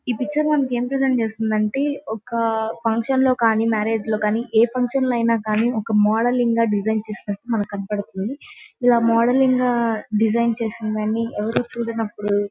ఈ పిక్చర్ మనకి ఎం ప్రెసెంట్ చేస్తుందంటే ఒక ఫంక్షన్ లో కానీ మ్యారేజ్ లో కానీ ఏ ఫంక్షన్ లో ఐన కానీ ఒక మోడలింగ్ గా డిసైన్ చేసినట్లు మనకి కనపడుతుంది . ఇలా మోడలింగ్ గా డిజైన్ చేసినదాన్ని ఎవరూ చూడనప్పుడు--